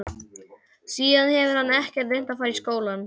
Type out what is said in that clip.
Síðan hefur hann ekkert reynt að fara í skóla.